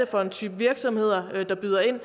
for en type virksomheder der byder ind